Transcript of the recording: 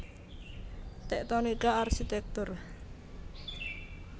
Tektonika Arsitektur